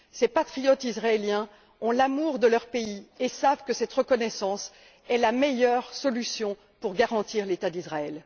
Ces patriotes israéliens ont l'amour de leur pays et savent que cette reconnaissance est la meilleure solution pour garantir l'État d'Israël.